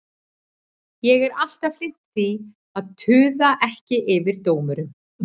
Ég er alltaf hlynnt því að tuða ekki yfir dómurum.